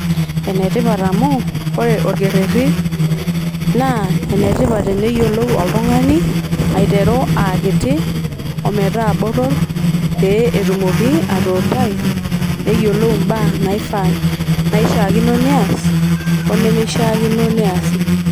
Ene tipat amu , ore orekereri naa ene tipat eneyiolou oltung'ani aiteru aa kiti ,ometaa botor pee etumoki atuutai neyiolou imbaa naifaa ,naishiaakino neas oneme shiiakino neasi